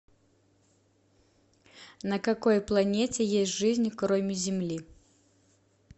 на какой планете есть жизнь кроме земли